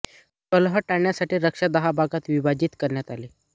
कलह टाळण्यासाठी रक्षा दहा भागात विभाजित करण्यात आली